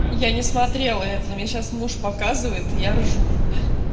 я не смотрела это мне сейчас муж показывает я ржу